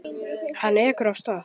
Hann ekur af stað.